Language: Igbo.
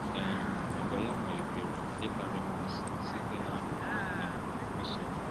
um Àgwà ya malitere ịkpali mmasị site n’akwụkwọ um nsọ.